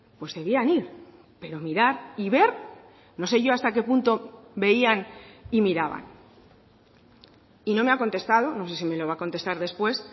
pues debían ir pero mirar y ver no sé yo hasta qué punto veían y miraban y no me ha contestado no sé si me lo va a contestar después